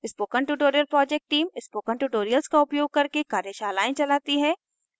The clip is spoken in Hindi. spoken tutorial project team spoken tutorials का उपयोग करके कार्यशालाएं चलाती है